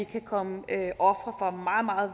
kan komme ofre for meget meget